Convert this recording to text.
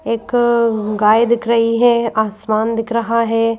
एकअअ गाय दिख रही है आसमान दिख रहा है।